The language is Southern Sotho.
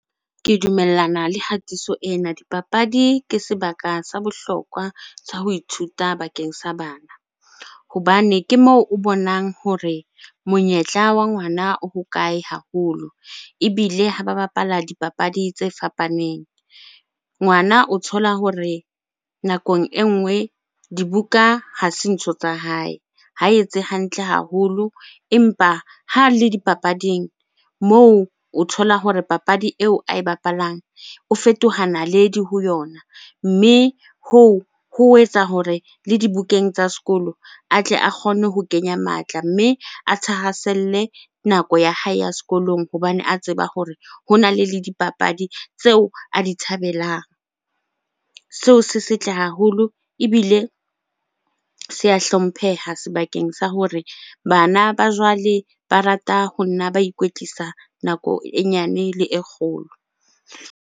Ke dumellana le hatiso ena. Dipapadi ke sebaka sa bohlokwa tsa ho ithuta bakeng sa bana. Hobane ke moo o bonang hore monyetla wa ngwana o hokae haholo ebile ha ba bapala dipapadi tse fapaneng. Ngwana o thola hore nakong e nngwe dibuka ha se ntho tsa hae, ha etse hantle haholo. Empa ha le dipapading moo o thola hore papadi eo ae bapalang o fetoha naledi ho yona, mme hoo ho etsa hore le dibukeng tsa sekolo a tle a kgone ho kenya matla, mme a thahaselle nako ya hae ya sekolong hobane a tseba hore hona le dipapadi tseo a di thabelang. Seo se setle haholo ebile se a hlompheha sebakeng sa hore bana ba jwale ba rata ho nna ba ikwetlisa nako e nyane le e kgolo.